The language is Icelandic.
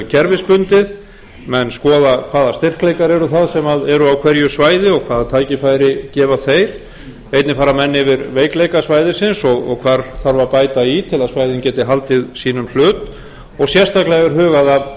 kerfisbundið menn skoða hvaða styrkleikar eru það sem eru á hverju svæði og hvaða tækifæri gefa þeir einnig fara menn yfir veikleika svæðisins og hvar þarf að bæta í til að svæðin geti haldið sínum hlut og sérstaklega er hugað að